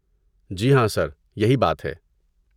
جی ہاں سر، یہی بات ہے۔